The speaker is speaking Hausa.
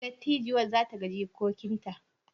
Dattijuwar za ta ga jikokinta?